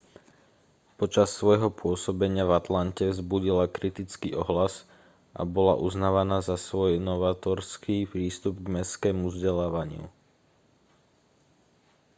počas svojho pôsobenia v atlante vzbudila kritický ohlas a bola uznávaná za svoj novátorský prístup k mestskému vzdelávaniu